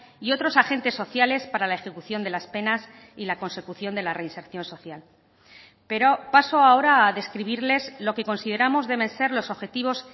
y otros agentes sociales para la ejecución de las penas y la consecución de la reinserción social pero paso ahora a describirles lo que consideramos deben ser los objetivos